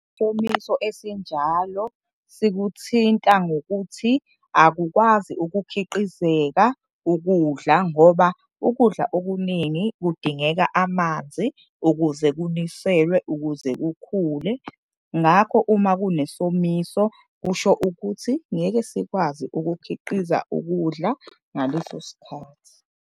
Isomiso esinjalo sikuthinta ngokuthi akukwazi ukukhiqizeka ukudla ngoba ukudla okuningi kudingeka amanzi ukuze kuniselwe, ukuze kukhule. Ngakho, uma kunesomiso kusho ukuthi ngeke sikwazi ukukhiqiza ukudla ngaleso sikhathi.